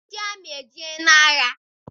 Ndị amị ejeela agha?